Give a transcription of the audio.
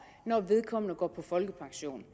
når vedkommende går på folkepension